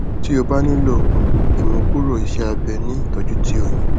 ti o ba nilo um imukuro iseabe ni itọju ti o yan